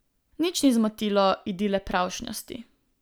Nič ni zmotilo idile pravšnjosti.